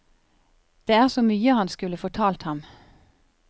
Det er så mye han skulle fortalt ham.